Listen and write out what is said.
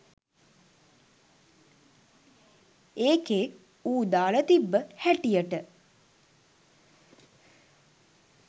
ඒකෙ ඌ දාල තිබ්බ හැටියට